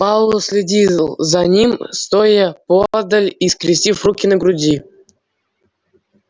пауэлл следил за ним стоя поодаль и скрестив руки на груди